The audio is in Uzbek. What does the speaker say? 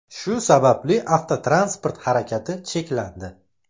Shu sababli avtotransport harakati cheklandi .